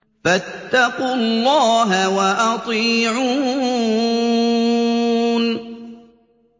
فَاتَّقُوا اللَّهَ وَأَطِيعُونِ